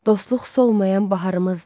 Dostluq solmayan baharımızdır.